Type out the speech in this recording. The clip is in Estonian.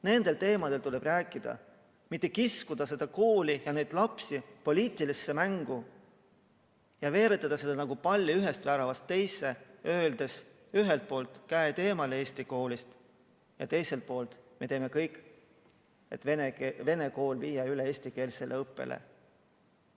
Nendel teemadel tuleb rääkida, mitte kiskuda seda kooli ja neid lapsi poliitilisse mängu ning veeretada palli ühest väravast teise, öeldes ühelt poolt, et käed eemale Eesti koolist, ja teiselt poolt, et me teeme kõik, et viia vene õppekeelega koolid üle eestikeelsele õppele.